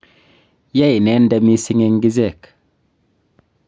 ya inende mising eng' ichek